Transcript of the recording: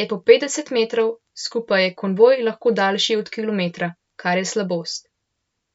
je po petdeset metrov, skupaj je konvoj lahko daljši od kilometra, kar je slabost.